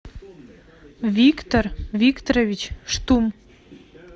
виктор викторович штум